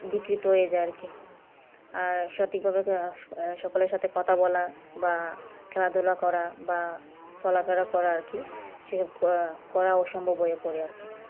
বিকৃত হয়ে যায় আর কি আর সঠিক ভাবে আর সকলের সাথে কথা বলা বা খেলাধুলা করা বা চলাফেরা করার কি সেসব করা সম্ভব হয়ে পড়ে আর কি